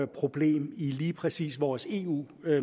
problem i lige præcis vores eu